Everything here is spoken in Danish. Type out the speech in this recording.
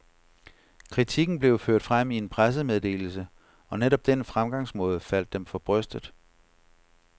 Kritikken blev ført frem i en pressemeddelse, og netop den fremgangsmåde faldt dem for brystet.